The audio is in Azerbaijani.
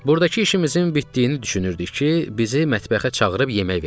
Buradakı işimizin bitdiyini düşünürdük ki, bizi mətbəxə çağırıb yemək verdilər.